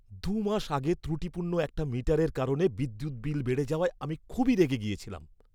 দু'মাস আগে ত্রুটিপূর্ণ একটা মিটারের কারণে বিদ্যুৎ বিল বেড়ে যাওয়ায় আমি খুবই রেগে গিয়েছিলাম।